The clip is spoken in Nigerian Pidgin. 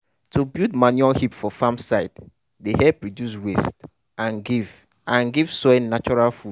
to build manure heap for farm side dey help reduce waste and give and give soil natural food.